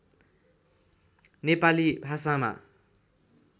नेपाली भाषामा